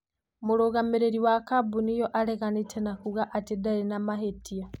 Mũrũgamĩrĩri wa kambuni ĩyo areganĩte na kuuga ati ndarĩ na mavĩtia.